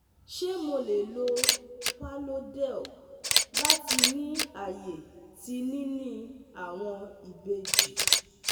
Ṣe Mo le lo Parlodel lati ni aye ti nini awọn ibeji